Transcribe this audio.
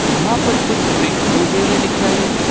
यहां पर कुछ वृक्ष उगे हुए दिख रहे हैं।